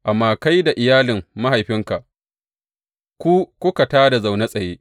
Amma kai da iyalin mahaifinka, ku kuka tā da na zaune tsaye.